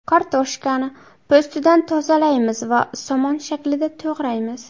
Kartoshkani po‘stidan tozalaymiz va somon shaklida to‘g‘raymiz.